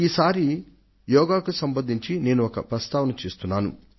ఈ సారి యోగా కు సంబంధించి నేను ఒక ప్రస్తావన చేస్తున్నాను